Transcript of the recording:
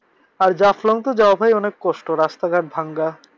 আর জাফলং তো যাওয়া অনেক কষ্ট রাস্তাঘাট ভাঙা।